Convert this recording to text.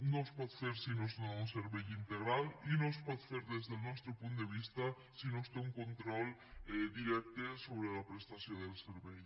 no es pot fer si no es dóna un servei integral i no es pot fer des del nostre punt de vista si no es té un control directe sobre la prestació del servei